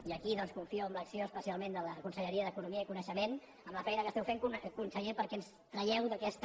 i aquí doncs confio en l’acció especialment de la conselleria d’economia i coneixement amb la feina que esteu fent conseller perquè ens tragueu d’aquesta